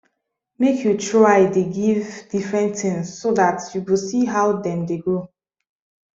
make u try the give different things so that u go see how them the grow